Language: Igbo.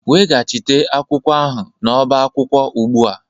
Weghachite akwụkwọ ahụ n'ọba akwụkwọ ugbu a